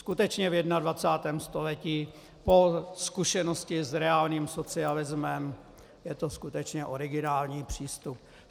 Skutečně, v 21. století po zkušenosti s reálným socialismem je to skutečně originální přístup.